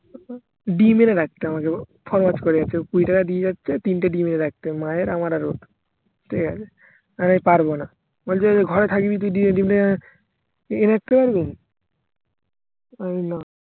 ডিম্ এনে রাখতে হবে আমাগে গো কুড়ি টাকা দিয়ে যাচ্ছে তিনটা ডিম্ এনে রাখতে হবে মায়ের আমার আর ওর ঠিকাছে আমি পারবোনা বলছে ঘরে থাকবি তুই দিয়ে এনে রাখতে পারবিনা আমি না